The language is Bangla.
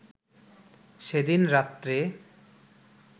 সেদিন রাত্রে